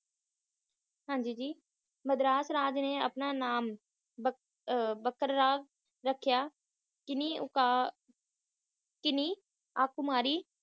ਹਾਂਜੀ ਜੀ ਮਦਰਾਸ ਰਾਜ ਨੇ ਆਪਣਾ ਨਾਮ ਬਕ ਬਕਰਾਰ ਰੱਖਿਆ ਕੀਨੀ ਕਨਯਾਕੁਮਾਰੀ